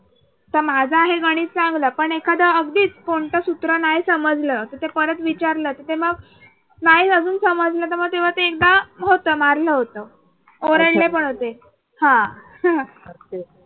तर माझा आहे म्हणून चांगलं पण एखादं अगदीच कोणता सूत्र नाही समजलं तर ते परत विचारत रहा तिथे मग नाही अजून समजलं तेव्हा ते एकदा होतं. मारलं होतं. ओरडले पण होते.